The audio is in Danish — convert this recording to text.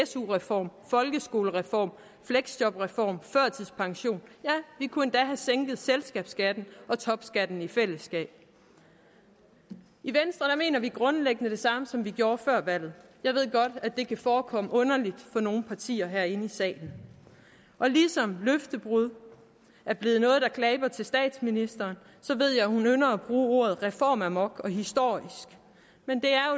su reform folkeskolereform fleksjobreform førtidspension ja vi kunne endda have sænket selskabsskatten og topskatten i fællesskab i venstre mener vi grundlæggende det samme som vi gjorde før valget jeg ved godt at det kan forekomme underligt for nogle partier herinde i salen ligesom løftebrud er blevet noget der klæber til statsministeren ved jeg hun ynder at bruge ordene reformamok og historisk men det er